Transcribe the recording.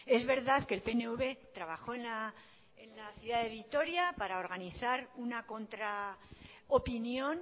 es verdad que el pnv trabajó en la ciudad de vitoria para organizar una contraopinión